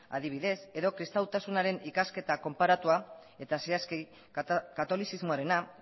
adibidez edo kristautasunaren ikasketa konparatua eta zehazki katolizismoarena